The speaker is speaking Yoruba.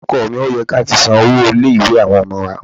Ọkọ mi, ó yẹ kí a ti san owó ilé-ìwé àwọn ọmọ wa.